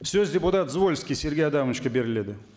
сөз депутат звольский сергей адамовичке беріледі